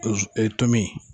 Ee tomi.